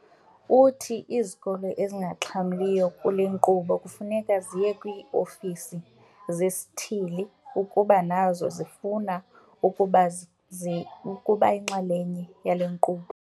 Uthi izikolo ezingaxhamliyo kule nkqubo kufuneka ziye kwii-ofisi zesithili ukuba nazo zifuna ukuba yinxalenye yale nkqubo.